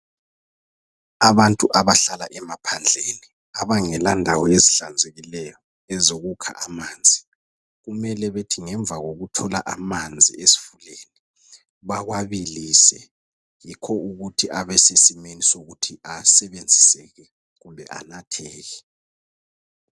Abantu abahlala emaphandleni abangela ndawo ezihlanzekileyo ezokukha amanzi, kumele bethi ngemva kokuthola amanzi esifuleni bawabilise yikho ukuthi abe sesimweni sokuthi asebenziseke kumbe anatheke.